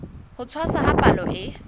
ho tshwasa ka palo e